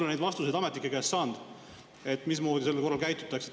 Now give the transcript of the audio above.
Ma ei ole ametnike käest saanud neid vastuseid, mismoodi sel juhul käitutakse.